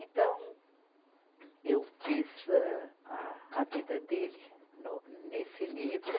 Então, eu fiz âh, a, a vida dele no, nesse livro.